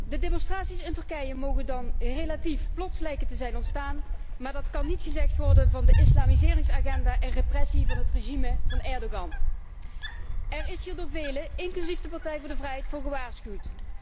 De demonstraties in Turkije mogen dan relatief plots lijken te zijn ontstaan, maar dat kan niet gezegd worden van de islamiseringsagenda en repressie van het regime van Erdogan. Er is hier door velen, inclusief de Partij voor de Vrijheid, voor gewaarschuwd.